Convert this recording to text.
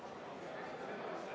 V a h e a e g